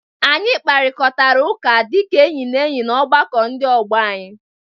Anyị kparịkọtara ụka dịka enyi na enyi na ọgbakọ ndị ọgbọ anyị.